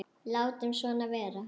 Látum svona vera.